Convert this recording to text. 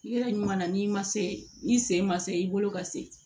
Yɔrɔ ɲuman na n'i ma se ni sen ma se i bolo ka se